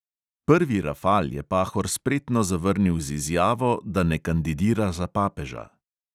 Prvi rafal je pahor spretno zavrnil z izjavo, da ne kandidira za papeža.